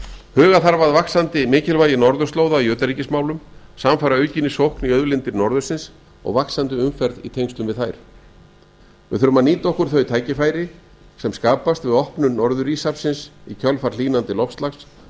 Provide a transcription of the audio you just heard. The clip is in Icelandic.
huga þarf að vaxandi mikilvægi norðurslóða í utanríkismálum samfara aukinni lok í auðlindir norðursins og vaxandi umferð í tengslum við þær við þurfum að nýta áður þau tækifæri sem skapast við opnun norður íshafsins í kjölfar hlýnandi loftslags